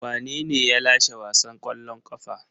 Wanene ya lashe wasan kwallon kafa?